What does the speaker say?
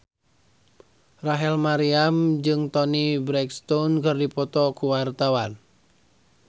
Rachel Maryam jeung Toni Brexton keur dipoto ku wartawan